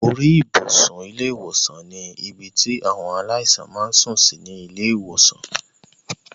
Orí ibùsùn ilé ìwòsàn ní ibi tí àwọn aláìsàn máa ń sùn sí ní ilé ìwòsàn